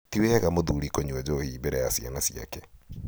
tiwega mũthuri kũnyua njohi mbere ya ciana ciake.